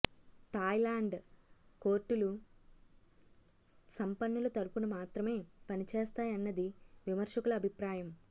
Thailand కోర్టులు సంపన్నుల తరఫున మాత్రమే పని చేస్తాయన్నది విమర్శకుల అభిప్రాయం